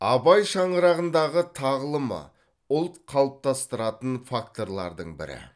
абай шаңырағындағы тағылымы ұлт қалыптастыратын факторлардың бірі